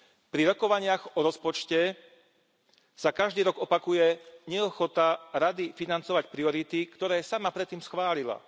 Pri rokovaniach o rozpočte sa každý rok opakuje neochota Rady financovať priority, ktoré sama predtým schválila.